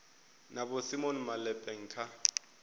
na vho simon malepeng kha